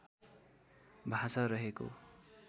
भाषा रहेको